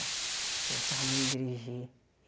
Eu gostava muito dirigir.